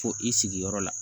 Fo i sigiyɔrɔ la